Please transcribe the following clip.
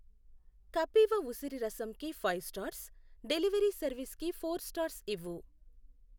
కపీవ ఉసిరి రసం కి ఫైవ్ స్టార్స్, డెలివరీ సర్వీస్ కి ఫోర్ స్టార్స్ ఇవ్వు.